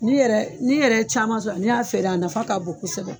N'i yɛrɛ n'i yɛrɛ ye caman sɔrɔ n'i y'a feere a nafa k'a bon kosɛbɛ.